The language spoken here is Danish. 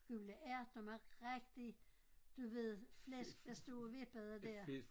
Gule ærter med rigtig du ved flæsk der stod og vippede der